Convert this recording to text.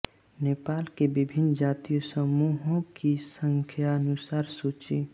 नेपाल के विभिन्न जातीय समूहों की संख्यानुसार सूची